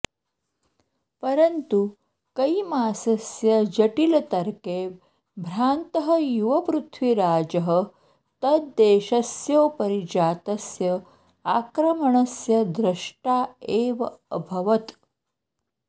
परन्तु कैमासस्य जटिलतर्के भ्रान्तः युवपृथ्वीराजः तद्देशस्योपरि जातस्य आक्रमणस्य द्रष्टा एव अभवत्